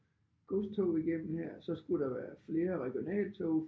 Godstog igennem her så skulle der være flere regionaltog